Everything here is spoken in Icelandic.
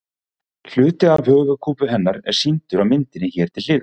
Hluti af höfuðkúpu hennar er sýndur á myndinni hér til hliðar.